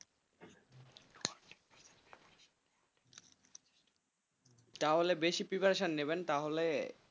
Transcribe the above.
তাহলে বেশি prreparation নেবেন তাহলে,